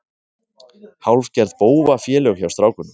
Hálfgerð bófafélög hjá strákunum.